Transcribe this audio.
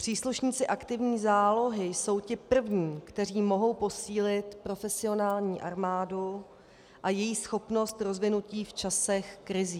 Příslušníci aktivní zálohy jsou ti první, kteří mohou posílit profesionální armádu a její schopnost rozvinutí v časech krizí.